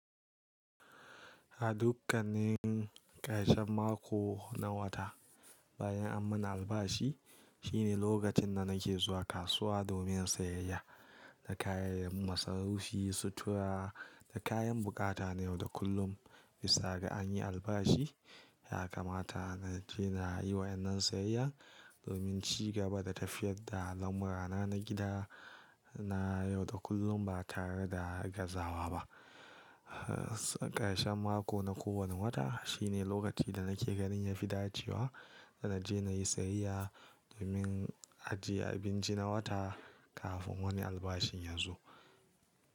A dukkanin ƙarshen mako na wata bayan an mana albashi shine lokacin da nake zuwa kasuwa domin siyayya na kayan masarufi, sutura da kayan buƙata na yau da kullum. Bisa ga an yi albashi, haka mata na je na yi wa yan nan siyayya domin ci gaba da tafiyar da al'amura na gida na yau da kullum ba tare da gazawa ba. Ƙarshen mako na kowane wata shine lokaci da nake ganin ya fi dacewa da na je na yi siyayya domin ajiye abinci na wata kafin wani albashi ya zo.